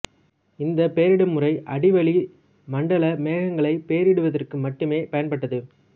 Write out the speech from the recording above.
இந்தப் பெயரிடும் முறை அடிவளி மண்டல மேகங்களைப் பெயரிடுவதற்கு மட்டுமே பயன்பட்டது